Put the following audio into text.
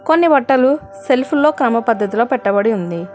కొన్ని బట్టలు సెల్ఫ్ లో క్రమ పద్ధతిలో పెట్టబడి ఉంది.